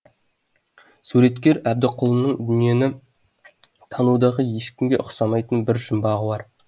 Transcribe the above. суреткер әбдікұлының дүниені танудағы ешкімге ұқсамайтын өз жұмбағы бар